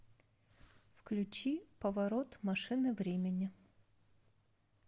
включи поворот машины времени